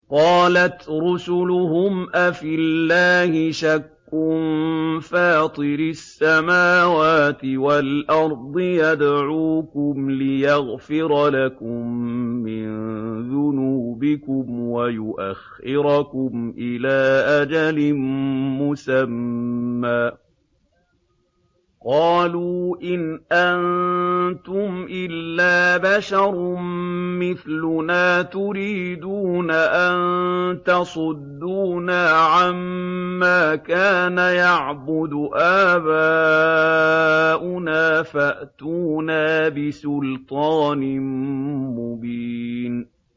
۞ قَالَتْ رُسُلُهُمْ أَفِي اللَّهِ شَكٌّ فَاطِرِ السَّمَاوَاتِ وَالْأَرْضِ ۖ يَدْعُوكُمْ لِيَغْفِرَ لَكُم مِّن ذُنُوبِكُمْ وَيُؤَخِّرَكُمْ إِلَىٰ أَجَلٍ مُّسَمًّى ۚ قَالُوا إِنْ أَنتُمْ إِلَّا بَشَرٌ مِّثْلُنَا تُرِيدُونَ أَن تَصُدُّونَا عَمَّا كَانَ يَعْبُدُ آبَاؤُنَا فَأْتُونَا بِسُلْطَانٍ مُّبِينٍ